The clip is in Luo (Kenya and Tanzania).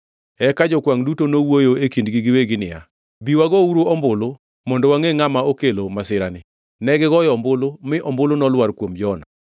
Eka jokwangʼ duto nowuoyo e kindgi giwegi niya, “Bi wagouru ombulu mondo wangʼe ngʼama okelo masirani.” Negigoyo ombulu, mi ombulu nolwar kuom Jona.